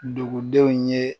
Dugudenw ye